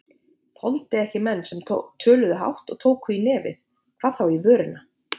Þoldi ekki menn sem töluðu hátt og tóku í nefið, hvað þá í vörina.